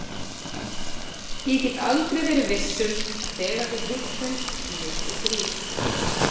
Ég get aldrei verið viss um að þegar við hittumst ég og Grýla.